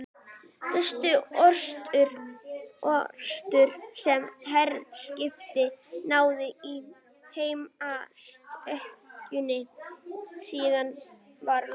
Fyrstu orrustu, sem herskip háðu í heimsstyrjöldinni síðari, var lokið